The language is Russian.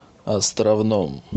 островном